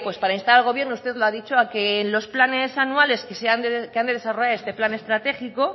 pues para instar al gobierno usted lo ha dicho a que en los planes anuales que han de desarrollar este plan estratégico